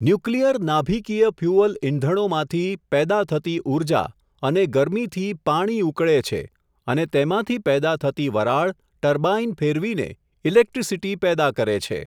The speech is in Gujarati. ન્યુક્લીયર નાભીકીય ફયુઅલ ઇંધણો માંથી, પેદા થતી ઊર્જા, અને ગરમીથી પાણી ઉકળે છે, અને તેમાંથી પેદા થતી વરાળ, ટર્બાઈન ફેરવીને, ઇલેકટ્રીસીટી પેદા કરે છે.